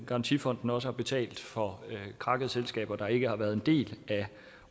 garantifonden også har betalt for krakkede selskaber der ikke har været en del af